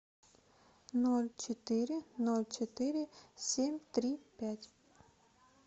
ноль четыре ноль четыре семь три пять